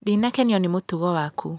Ndinakenio ni mũtugo waku.